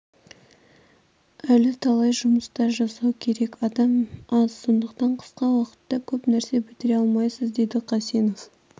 әлі талай жұмыстар жасау керек адам аз сондықтан қысқа уақытта көп нәрсе бітіре алмайсыз деді қасенов